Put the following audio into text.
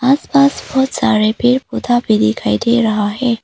आसपास बहुत सारे पेड़ पौधा पर दिखाई दे रहा है।